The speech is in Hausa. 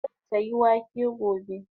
Zan saya wake gobe